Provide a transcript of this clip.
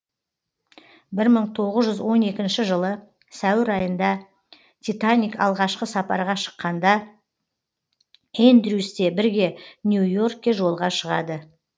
мың тоғыз жүз он екінші жылы сәуір айында титаник алғашқы сапарға шыққанда эндрюс те бірге нью йоркке жолға шығады